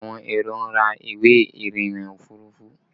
Àwọn èrò ń ra ìwé irinna òfurufú